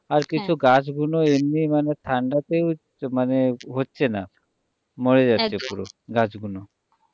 আর কিছু গাছ গুলো এমনি মানে ঠান্ডাতেও মানে হচ্ছেনা মরে যাচ্ছে পুরো গাছ গুলো।